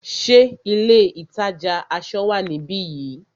Ṣé ilé ìtajà aṣọ wá níbi yìí?